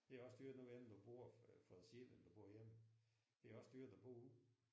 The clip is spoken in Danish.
Det er også dyrt nu ved jeg ikke om du bor for dig selv eller om du bor hjemme. Det er også dyrt at bo ude